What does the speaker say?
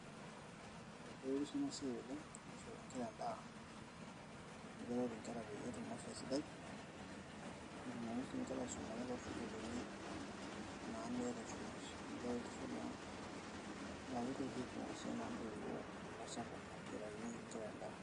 ee keretisho ena siai oleng, amu ore edaa keret nkera pee etum afia sidai, netumoki sii nkera aisumata too sukuulini meeta esumash.